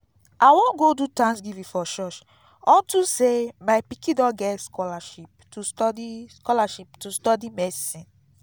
i wan go do thanksgiving for church unto say my pikin don get scholarship to study scholarship to study medicine